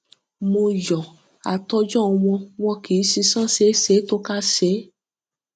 mo yọ àtòjọ wọn wọn kí sísan ṣeé ṣe tó kásẹ